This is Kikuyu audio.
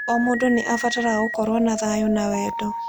O mũndũ nĩ abataraga gũkorũo na thayũ na wendo.